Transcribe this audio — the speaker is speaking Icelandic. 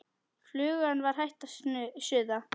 Flugan var hætt að suða.